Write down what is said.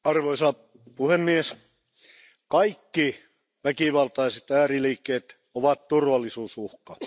Arvoisa puhemies, kaikki väkivaltaiset ääriliikkeet ovat turvallisuusuhka.